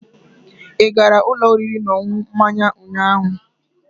Ị gara ụlọ oriri na ọṅụṅụ mmanya ụnyaahụ?